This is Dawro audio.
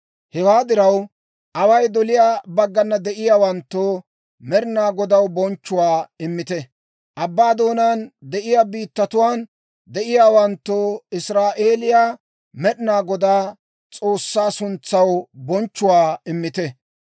Hewaa diraw, away doliyaa baggana de'iyaawanttoo, Med'inaa Godaw bonchchuwaa immite; abbaa doonaan de'iyaa biittatuwaan de'iyaawanttoo, Israa'eeliyaa Med'inaa Godaa, S'oossaa suntsaw bonchchuwaa immite.